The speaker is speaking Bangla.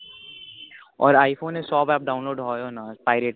ওর i phone এ সব app download হয় না pirated